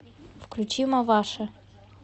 включи маваши